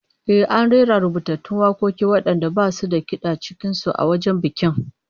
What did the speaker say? Eh, an rera rubutattun wakoki wadanda basu da kid'a cikin su, a wajen bikin